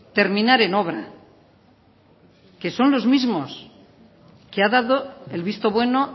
terminar en obra y que son los mismos que han dado el visto bueno